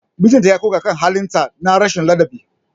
Mijinta ya koka kan halin ta na rashin ladabi.